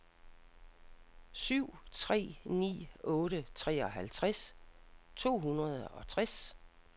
syv tre ni otte treoghalvtreds to hundrede og tres